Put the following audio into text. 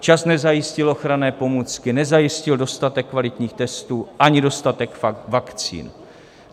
Včas nezajistil ochranné pomůcky, nezajistil dostatek kvalitních testů ani dostatek vakcín.